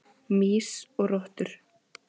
Mýs og rottur.